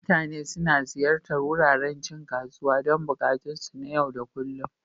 Mutane suna ziyartar wuraren cin kasuwa don buƙatunsu na yau da kullun.